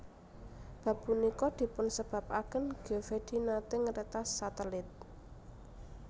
Bab punika dipunsebabaken Geovedi nate ngretas satelit